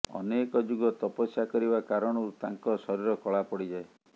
ଅନେକ ଯୁଗ ତପସ୍ୟା କରିବା କାରଣରୁ ତାଙ୍କ ଶରୀର କଳା ପଡିଯାଏ